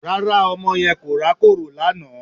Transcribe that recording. Rárá ọmọ yẹn kò rákòrò lánàá